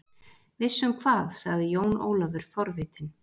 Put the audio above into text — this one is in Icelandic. Viss um hvað, sagði Jón Ólafur forvitinn.